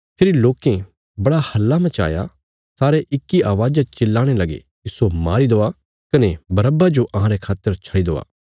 फेरी लोकें बड़ा हल्ला मचाया सारे इक्की अवाज़ा च चिल्लाणे लगे इस्सो मारी देआ कने बरअब्बा जो अहांरे खातर छडी देआ